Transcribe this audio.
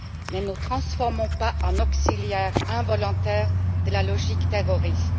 Ne nous transformons pas en auxiliaires involontaires de la logique terroriste.